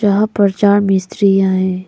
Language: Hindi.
यहां पर चार मिस्रियां हैं।